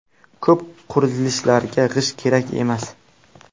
Ko‘p qurilishlarga g‘isht kerak emas.